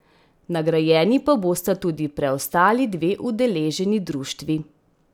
Nagrajeni pa bosta tudi preostali dve udeleženi društvi.